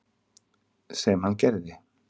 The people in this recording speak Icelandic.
Sem hann gerði.